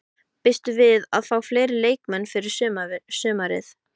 Býstu við að fá fleiri leikmenn fyrir sumarið?